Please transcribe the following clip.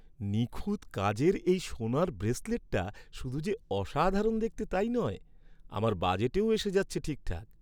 নিখুঁত কাজের এই সোনার ব্রেসলেটটা শুধু যে অসাধারণ দেখতে তাই নয় আমার বাজেটেও এসে যাচ্ছে ঠিকঠাক।